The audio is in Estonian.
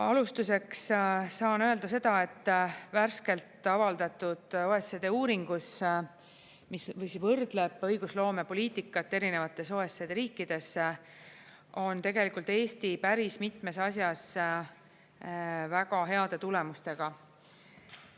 Alustuseks saan öelda seda, et värskelt avaldatud OECD uuringus, mis võrdleb õigusloomepoliitikat erinevates OECD riikides, on tegelikult Eesti päris mitmes asjas väga heade tulemustega.